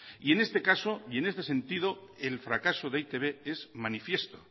y en este caso y en este sentido el fracaso de e i te be es manifiesto